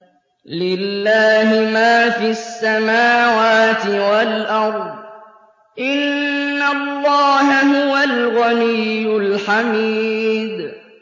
لِلَّهِ مَا فِي السَّمَاوَاتِ وَالْأَرْضِ ۚ إِنَّ اللَّهَ هُوَ الْغَنِيُّ الْحَمِيدُ